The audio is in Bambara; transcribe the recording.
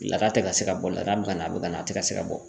Laada tɛ ka se ka bɔ, laada bɛ ka na, a bɛ ka na , a tɛ ka se ka bɔ .